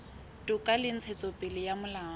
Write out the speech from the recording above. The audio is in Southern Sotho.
toka le ntshetsopele ya molao